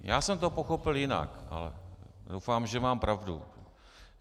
Já jsem to pochopil jinak, ale doufám, že mám pravdu.